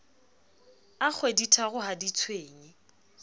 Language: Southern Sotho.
a kgweditharo ha di tshwenye